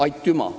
Aitüma!